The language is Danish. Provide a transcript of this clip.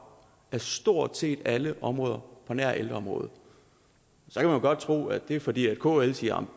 på stort set alle områder på nær ældreområdet så kan man godt tro at det er fordi kl siger